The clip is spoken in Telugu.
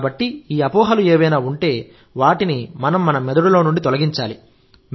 కాబట్టి ఈ అపోహలు ఏవైనా ఉంటే వాటిని మన మెదడులో నుండి తొలగించాలి